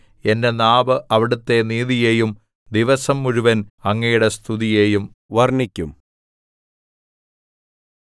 എന്റെ നാവ് അവിടുത്തെ നീതിയെയും ദിവസം മുഴുവൻ അങ്ങയുടെ സ്തുതിയെയും വർണ്ണിക്കും